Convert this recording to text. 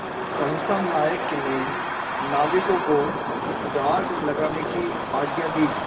सहसा नायक ने नाविकों को डाँड लगाने की आज्ञा दी